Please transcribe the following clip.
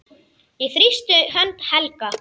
Ég þrýsti hönd Helga.